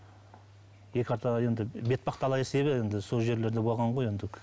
бетпақ дала есебі енді сол жерлерде болған ғой енді